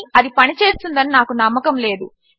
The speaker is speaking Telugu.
కాని అది పనిచేస్తుందని నాకు నమ్మకము లేదు